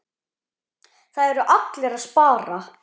Það eru allir að spara.